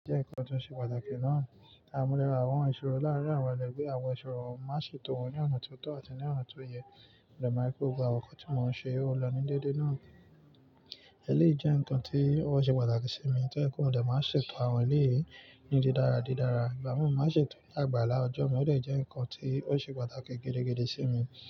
Jẹ́ ǹkan tó ṣe pàtàkì náà. A mu líle àwọn ìṣòro láàárín àwọn ẹlẹgbẹ́, àwọn ìṣòro má ṣe tò wọ́n ní ọ̀nà tó tọ̀ àti ní ọ̀nà tó yẹ. Mo dẹ ma ri pé gbogbo àwọn nǹkan tí mò ń ṣe ó lọ ní déédéé náà. Ẹ̀léyii jẹ́ ǹkan tí ó ṣe pàtàkì sí mi, tó jẹ pé mo dẹ máa ṣe tò àwọn eleyìí ní dídára dídára, ìgbà mi mò máa ṣe tò ní àgbàlá ọjọ́, ó dẹ jẹ́ ǹkan tí ó ṣe pàtàkì gidigidi sí mi.